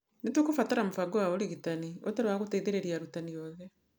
"Nĩ tũkũbatara mũbango wa ũrigitani ũtarĩ wa gũteithĩrĩria arutani othe.